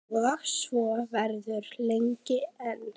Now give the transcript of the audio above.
Og svo verður lengi enn.